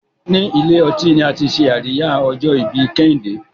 ní Ilé-ọtí ní àti ṣe Àríyá ojo-ibi kehinde